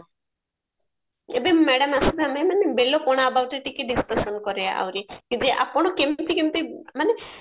ଏବେ madam ମାନେ ବେଲ ପଣା aboutରେ ଟିକେ discussion କରିବା ଆଉରି କି ଯେ ଆପଣ କେମତି କେମତି ମାନେ